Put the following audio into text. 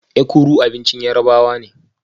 Ekuru abincin Yarabawa ne